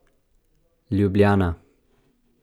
Ljubljana.